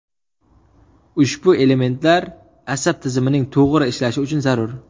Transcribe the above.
Ushbu elementlar asab tizimining to‘g‘ri ishlashi uchun zarur.